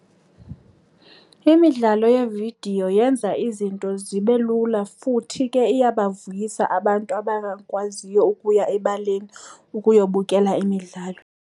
Imidlalo yevidiyo yenza izinto zibe lula futhi ke iyabavuyisa abantu abangakwaziyo ukuya ebaleni okuyobukela imidlalo.